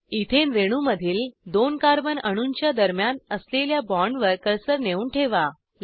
ethane रेणूमधील दोन कार्बनअणूंच्या दरम्यान असलेल्या बॉण्डवर कर्सर नेऊन ठेवा